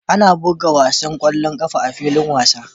Ana buga wasan ƙwallon ƙafa a filin wasa